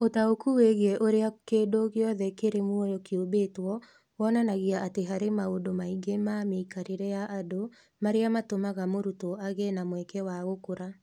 Ũtaũku wĩgiĩ ũrĩa kĩndũ gĩothe kĩrĩ muoyo kĩũmbĩtwo wonanagia atĩ harĩ maũndũ maingĩ ma mĩikarĩre ya andũ marĩa matũmaga mũrutwo agĩe na mweke wa gũkũra.